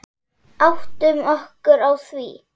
Áttum okkur á því.